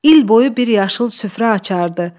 İl boyu bir yaşıl süfrə açardı.